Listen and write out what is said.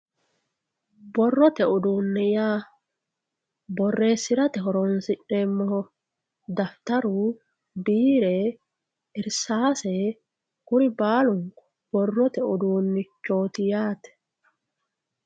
borrote uduune yaa borreesirate horonsi'neemoho daftaru, biire, irsaase kuri baalunkku borrote uduunichooti yaate.